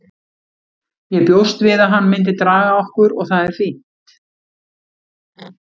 Ég bjóst við að hann myndi draga okkur og það er fínt.